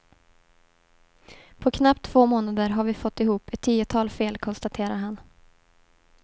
På knappt två månader har vi fått ihop ett tiotal fel, konstaterar han.